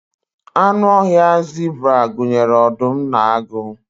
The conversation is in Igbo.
anụ ọhịa zebra gụnyere ọdụm na agụ